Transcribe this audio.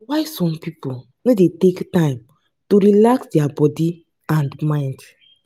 why some pipo no dey take time to relax their bodi and mind?